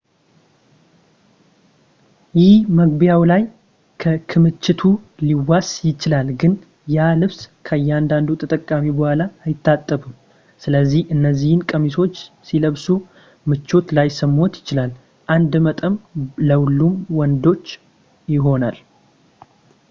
ይህም መግቢያው ላይ ከክምችቱ ሊዋስ ይችላል ግን ያ ልብስ ከእያንዳንዱ ተጠቃሚ በኋላ አይታጠብም ስለዚህ እነዚህን ቀሚሶች ሲለብሱ ምቾት ላይሰማዎት ይችላል አንድ መጠን ለሁሉም ወንዶች ይሆናል